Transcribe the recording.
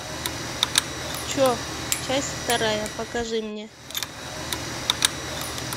че часть вторая покажи мне